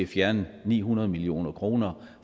fjerne ni hundrede million kroner